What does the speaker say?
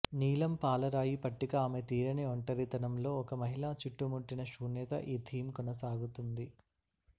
నీలం పాలరాయి పట్టిక ఆమె తీరని ఒంటరితనం లో ఒక మహిళ చుట్టుముట్టిన శూన్యత ఈ థీమ్ కొనసాగుతుంది